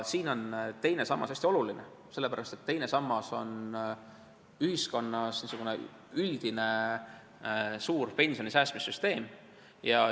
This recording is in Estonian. Siin on teine sammas hästi oluline ja seda sellepärast, et teine sammas on ühiskonnas niisugune üldine suur pensionisäästmissüsteem.